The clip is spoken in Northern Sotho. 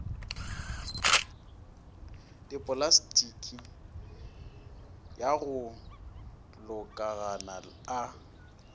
dipolastiki ya go lokologana a